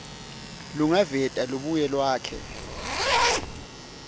lolungaveta lubuye lwakhe